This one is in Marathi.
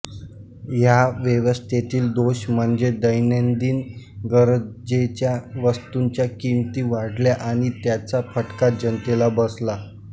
ह्या व्यवस्थेतील दोष म्हणजे दैनंदिन गरजेच्या वस्तूंच्या किमती वाढल्या आणि त्याचा फटका जनतेला बसला